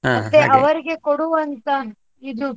ಮತ್ತೆ ಅವರಿಗೆ ಕೊಡುವಂತ ಇದು,